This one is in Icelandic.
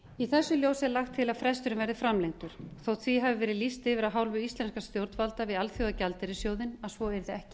í þessu ljósi er lagt til að fresturinn verði framlengdur þó því hafi verið lýst yfir af hálfu íslenskra stjórnvalda við alþjóðagjaldeyrissjóðinn að svo yrði ekki